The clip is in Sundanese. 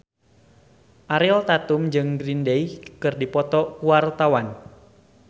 Ariel Tatum jeung Green Day keur dipoto ku wartawan